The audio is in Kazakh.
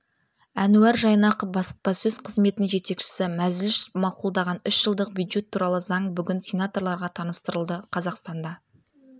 әнуар жайнақов баспасөз қызметінің жетекшісі мәжіліс мақұлдаған үш жылдық бюджет туралы заң бүгін сенаторларға таныстырылды қазақстанда